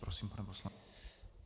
Prosím, pane poslanče.